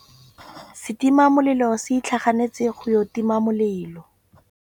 Setima molelô se itlhaganêtse go ya go tima molelô.